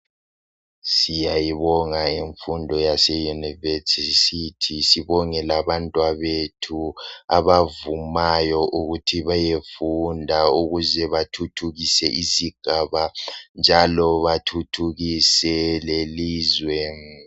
Siyayibonga imfundo yase university. Sibonge labantwabethu abavumayo ukuthi beyefunda ukuze bathuthukise isigaba, njalo bàthuthukise lelizwe.